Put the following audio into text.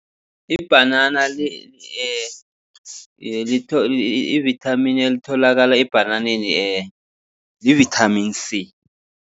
Ibhanana ivithamini elitholakala ebhananeni livithamini C.